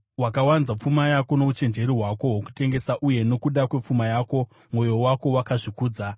Wakawanza pfuma yako nouchenjeri hwako hwokutengesa, uye nokuda kwepfuma yako mwoyo wako wakazvikudza.